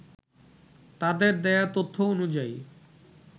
তাদের দেয়া তথ্য অনুযায়ী